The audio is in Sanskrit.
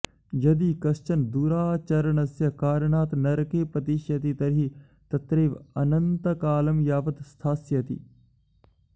यदि कश्चन दुराचरणस्य कारणात् नरके पतिष्यति तर्हि तत्रैव अनन्तकालं यावत् स्थास्यति